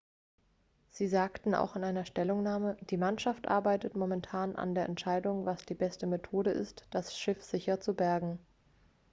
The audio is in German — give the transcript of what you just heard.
sie sagten auch in einer stellungnahme die mannschaft arbeitet momentan an der entscheidung was die beste methode ist das schiff sicher zu bergen